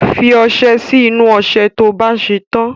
fi ọsẹ sí inú ọṣẹ to bá ṣè tàn